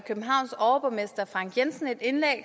københavns overborgmester frank jensen